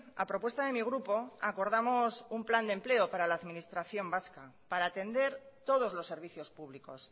a propuesta de mi grupo acordamos un plan de empleo para la administración vasca para atender todos los servicios públicos